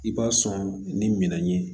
I b'a sɔn ni minɛn ye